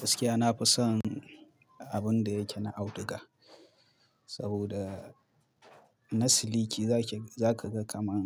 Gaskiya nafi son, abun da yake na auduga, saboda na siliki za ki, za ka ga kamar